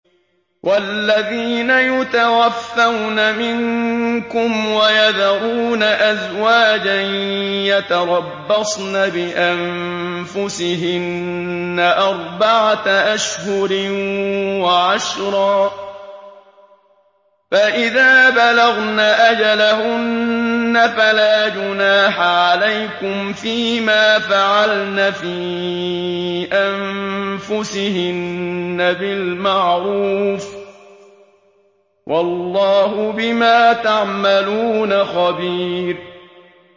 وَالَّذِينَ يُتَوَفَّوْنَ مِنكُمْ وَيَذَرُونَ أَزْوَاجًا يَتَرَبَّصْنَ بِأَنفُسِهِنَّ أَرْبَعَةَ أَشْهُرٍ وَعَشْرًا ۖ فَإِذَا بَلَغْنَ أَجَلَهُنَّ فَلَا جُنَاحَ عَلَيْكُمْ فِيمَا فَعَلْنَ فِي أَنفُسِهِنَّ بِالْمَعْرُوفِ ۗ وَاللَّهُ بِمَا تَعْمَلُونَ خَبِيرٌ